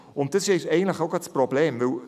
Auch das ist gerade das Problem.